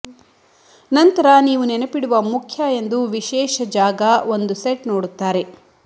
ನಂತರ ನೀವು ನೆನಪಿಡುವ ಮುಖ್ಯ ಎಂದು ವಿಶೇಷ ಜಾಗ ಒಂದು ಸೆಟ್ ನೋಡುತ್ತಾರೆ